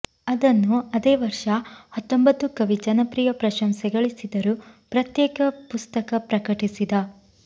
ಅದನ್ನು ಅದೇ ವರ್ಷ ಹತ್ತೊಂಬತ್ತು ಕವಿ ಜನಪ್ರಿಯ ಪ್ರಶಂಸೆ ಗಳಿಸಿದರು ಪ್ರತ್ಯೇಕ ಪುಸ್ತಕ ಪ್ರಕಟಿಸಿದ